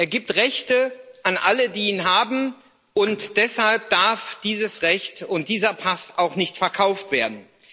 Er gibt Rechte an alle, die ihn haben, und deshalb dürfen dieses Recht und dieser Pass auch nicht verkauft werden.